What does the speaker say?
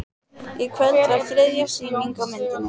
Í kvöld var þriðja sýning á myndinni